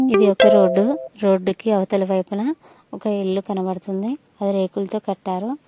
ఇది ఒక రోడ్డు రోడ్డుకి అవతలి వైపున ఒక ఇల్లు కనబడుతుంది అది రేకులతో కట్టారు.